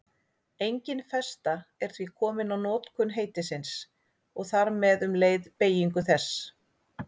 Engin festa er því komin á notkun heitisins og þar með um leið beygingu þess.